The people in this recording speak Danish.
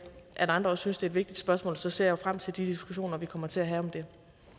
at andre også synes det er et vigtigt spørgsmål og så ser jeg frem til de diskussioner vi kommer til at have om det